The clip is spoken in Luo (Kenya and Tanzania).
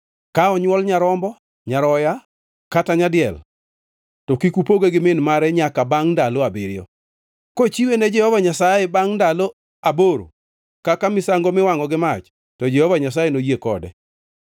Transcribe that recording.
“Ka onywol nyarombo, nyaroya kata nyadiel, to kik upoge gi min mare nyaka bangʼ ndalo abiriyo. Kochiwe ne Jehova Nyasaye bangʼ ndalo aboro kaka misango miwangʼo gi mach to Jehova Nyasaye noyie kode.